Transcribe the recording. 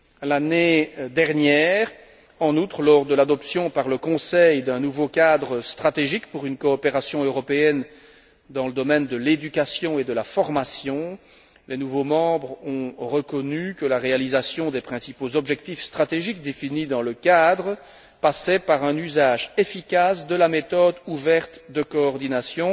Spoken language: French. L'année dernière, en outre, lors de l'adoption par le Conseil d'un nouveau cadre stratégique pour une coopération européenne dans le domaine de l'éducation et de la formation, les nouveaux membres ont reconnu que la réalisation des principaux objectifs stratégiques définis dans le cadre passait par un usage efficace de la méthode ouverte de coordination,